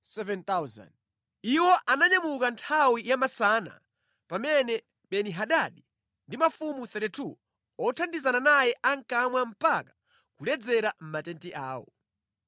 Iwo ananyamuka nthawi yamasana pamene Beni-Hadadi ndi mafumu 32 othandizana naye ankamwa mpaka kuledzera mʼmatenti awo.